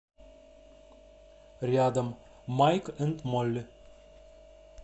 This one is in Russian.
рядом майк энд молли